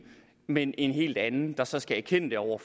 men en helt anden der så skal erkende det over